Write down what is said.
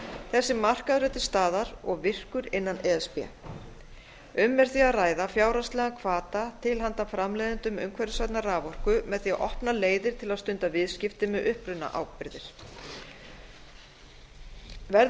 þessi markaður er til staðar og virkur innan e s b um er því að ræða fjárhagslegan hvata til handa framleiðendum umhverfisvænnar raforku með því að opna leiðir til að stunda viðskipti með upprunaábyrgðir verði